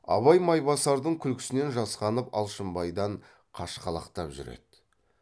абай майбасардың күлкісінен жасқанып алшынбайдан қашқалақтап жүр еді